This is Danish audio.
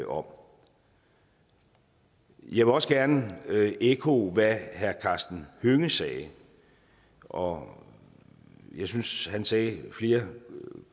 om jeg vil også gerne ekkoe hvad herre karsten hønge sagde og jeg synes han sagde flere